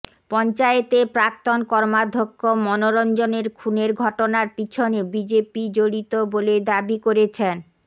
পঞ্চায়েতের প্রাক্তন কর্মাধ্যক্ষ মনোরঞ্জনের খুনের ঘটনার পিছনে বিজেপি জড়িত বলে দাবি করেছেন